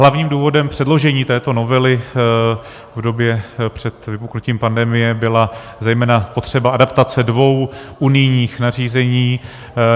Hlavním důvodem předložení této novely v době před vypuknutím pandemie byla zejména potřeba adaptace dvou unijních nařízení.